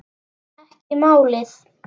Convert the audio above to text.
Ekki málið.